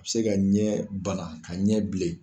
A bɛ se ka ɲɛ bana ka ɲɛ bilen